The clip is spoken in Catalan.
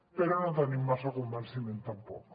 però no en tenim massa convenciment tampoc